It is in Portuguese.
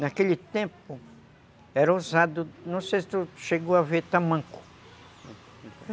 Naquele tempo era usado, não sei se tu chegou a ver, tamanco.